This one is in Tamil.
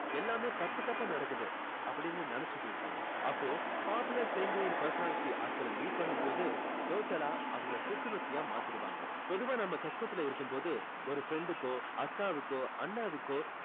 எல்லாமே தப்பு தப்பா நடக்குது அப்படின்னு நினைச்சிட்டு இருப்பாங்க அப்போ popular sanguine personality ஆட்களை meet பண்ணும் போது total ஆ அவங்களை புத்துணர்ச்சியா மாத்திடுவாங்க பொதுவா நம்ம கஷ்டத்துல இருக்கும் போது ஒரு friend க்கோ அக்காவுக்கோ அண்ணாவுக்கோ